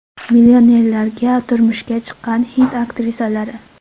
Millionerlarga turmushga chiqqan hind aktrisalari.